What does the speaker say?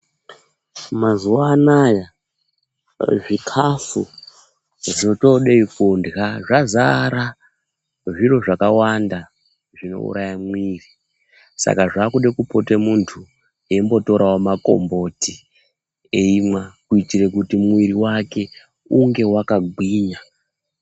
Mazuva anaya zvikafu zvotodei kurya zvazara zviro zvakawanda zvinouraya mwiri. Saka zvakude kupote muntu eimbotoravo makomboti eimwa. Kuitira kuti mwiri vake unge vakagwinya.